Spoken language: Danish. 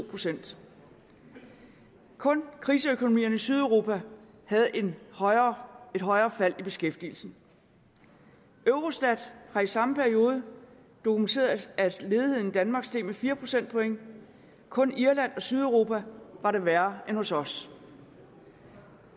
procent kun kriseøkonomierne i sydeuropa havde et højere et højere fald i beskæftigelsen eurostat har i samme periode dokumenteret at ledigheden i danmark steg med fire procentpoint kun i irland og sydeuropa var det værre end hos os